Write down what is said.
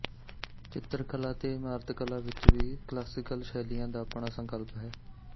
ਚਿੱਤਰ ਕਲਾ ਤੇ ਇਮਾਰਤ ਕਲਾ ਵਿੱਚ ਵੀ ਕਲਾਸੀਕਲ ਸ਼ੈਲੀਆਂ ਦਾ ਆਪਣਾ ਸੰਕਲਪ ਹੈ